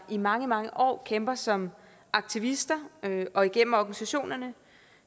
i mange mange år kæmper som aktivister og igennem organisationerne